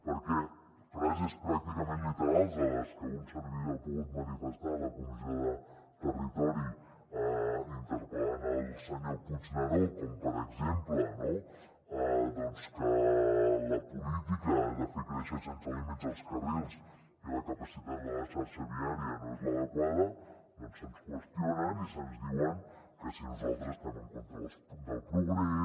perquè frases pràcticament literals a les que un servidor ha pogut manifestar a la comissió de territori interpel·lant el senyor puigneró com per exemple que la política de fer créixer sense límits els carrils i que la capacitat de la xarxa viària no és l’adequada doncs se’ns qüestionen i se’ns diu que si nosaltres estem en contra del progrés